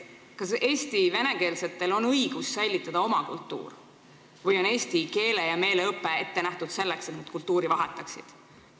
Kas Eesti venekeelsetel on õigus säilitada oma kultuur või on eesti keele ja meele õpe ette nähtud selleks, et nad kultuuri vahetaksid?